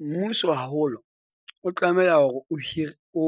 Mmuso haholo o tlameha hore o hire o,